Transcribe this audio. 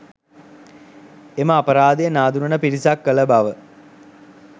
එම අපරාධය නාඳුනන පිරිසක් කළ බව